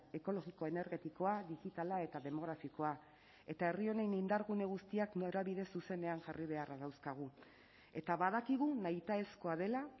ekologiko energetikoa digitala eta demografikoa eta herri honen indargune guztiak norabide zuzenean jarri beharra dauzkagu eta badakigu nahitaezkoa dela